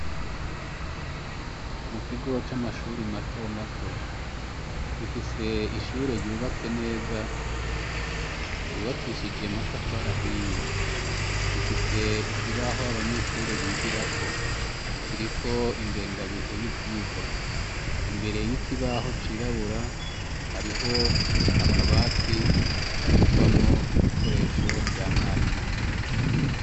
Mu kigo c'amashure matomato. Gifise ishure yubatse neza, yubakishije amatafari ahiye. Gifise ikibaho abanyeshure bigirako, kiriko ingengabihe y'ivyigwa. Imbere y'ikibaho cirabura, hariho akabati kabikwamwo ibikoresho vya mwarimu.